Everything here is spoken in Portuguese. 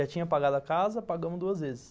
Já tinha pagado a casa, pagamos duas vezes.